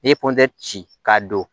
N'i ye kɔntɛri ci k'a don